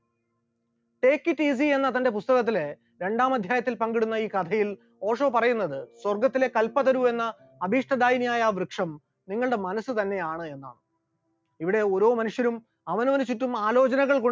take it easy എന്ന തന്റെ പുസ്തകത്തിൽ രണ്ടാം അധ്യായത്തിൽ പങ്കിടുന്ന ഈ കഥയിൽ ഓഷോ പറയുന്നത് സ്വർഗ്ഗത്തിലെ എന്ന അഭീഷ്ടദായനിയായ ആ വൃക്ഷം നിങ്ങളുടെ മനസ്സ് തന്നെയാണ് എന്നാണ്, ഇവിടെ ഓരോ മനുഷ്യരും അവനവന്‍ ചുറ്റും ആലോചനകൾ കൊണ്ട്